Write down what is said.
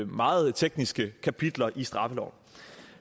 meget tekniske kapitler i straffeloven